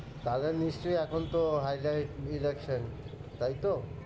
তাহলে নিশ্চয়ই এখন তো election তাই তো?